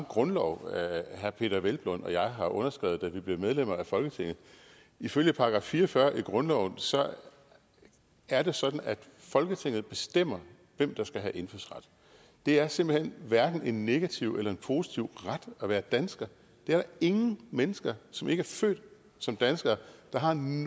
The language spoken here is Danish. grundlov herre peder hvelplund og jeg har underskrevet da vi blev medlemmer af folketinget ifølge § fire og fyrre i grundloven er det sådan at folketinget bestemmer hvem der skal have indfødsret det er simpelt hen hverken en negativ eller en positiv ret at være dansker det er der ingen mennesker som ikke er født som dansker der har nogen